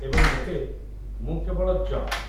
ଏବଂ ଏବେ, ମୁଁ କେବଳ ଜଙ୍କ୍!